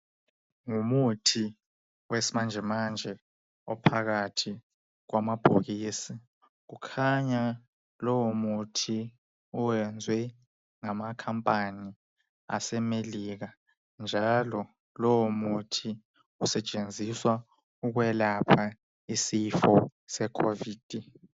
Ngumuthi wesimanje manje ophakathi kwama bhokisi kukhanya lowo muthi uwenzwe ngama khampani ase Amelika njalo lowo muthi usetshenziswa ukwelapha isifo sekhovidi.